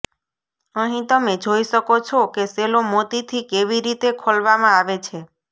અહીં તમે જોઈ શકો છો કે શેલો મોતીથી કેવી રીતે ખોલવામાં આવે છે